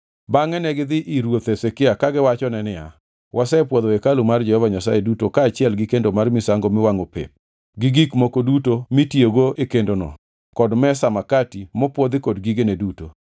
Bangʼe negidhi ir ruoth Hezekia kagiwachone niya, “Wasepwodho hekalu mar Jehova Nyasaye duto kaachiel gi kendo mar misango miwangʼo pep gi gik moko duto mitiyogo e kendono kod mesa makati mopwodhi kod gigene duto.